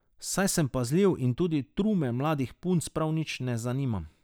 Saj sem pazljiv in tudi trume mladih punc prav nič ne zanimam.